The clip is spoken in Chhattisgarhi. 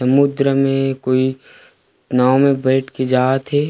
समुद्र में कोई नाव में बईठ के जात हे।